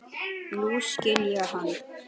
Nú skil ég hann.